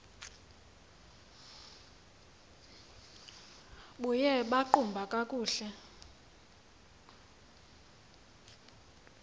buye baqhuba kakuhle